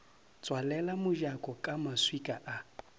tswalela mojako ka maswika a